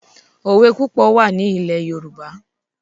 òwè púpọ̀ wà ní ilẹ̀ Yorùbá